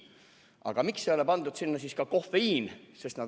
Aga miks ei ole siis sinna pandud ka "kofeiin"?